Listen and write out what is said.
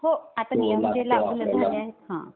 हो आता नियम वगैरे लागू झालेले आहे. हा.